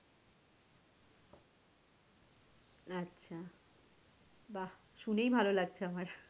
আচ্ছা বাহ শুনেই ভালো লাগছে আমার।